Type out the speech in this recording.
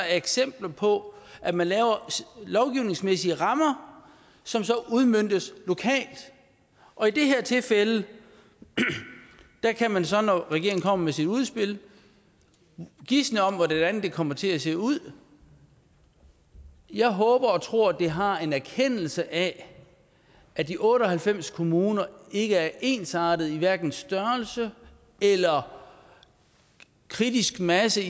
eksempler på at man laver lovgivningsmæssige rammer som så udmøntes lokalt og i det her tilfælde kan man så når regeringen kommer med sit udspil gisne om hvordan det kommer til at se ud jeg håber og tror at det har en erkendelse af at de otte og halvfems kommuner ikke er ensartede i hverken størrelse eller kritisk masse